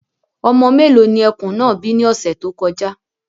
Ọmọ mélòó ni ẹkùn náà bí ní ọ̀sẹ̀ tó kọjá.